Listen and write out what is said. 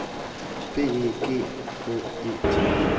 B E G Å E T